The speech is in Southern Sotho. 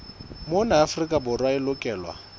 mona afrika borwa e lokelwa